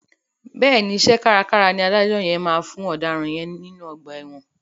Bẹ́ẹ̀ni, iṣẹ́ kárakára ni adájọ́ yẹn máa fún ọ̀daràn yẹn nínú ọgbà ẹ̀wọ̀n.